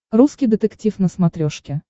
русский детектив на смотрешке